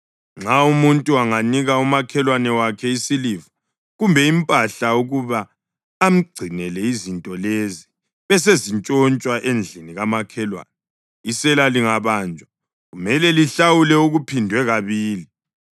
Nxa umuntu anganika umakhelwane wakhe isiliva kumbe impahla ukuba amgcinele izinto lezi besezintshontshwa endlini kamakhelwane, isela lingabanjwa kumele lihlawule okuphindwe kabili.